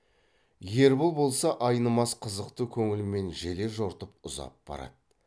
ербол болса айнымас қызықты көңілмен желе жортып ұзап барады